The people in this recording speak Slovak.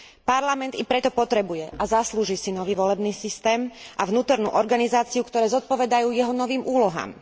Parlament i preto potrebuje a zaslúži si nový volebný systém a vnútornú organizáciu, ktoré zodpovedajú jeho novým úlohám.